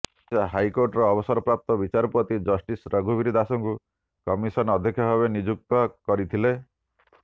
ଓଡ଼ିଶା ହାଇକୋର୍ଟର ଅବସରପ୍ରାପ୍ତ ବିଚାରପତି ଜଷ୍ଟିସ୍ ରଘୁବୀର ଦାଶଙ୍କୁ କମିଶନ ଅଧ୍ୟକ୍ଷ ଭାବେ ନିଯୁକ୍ତ କରିଥିଲେ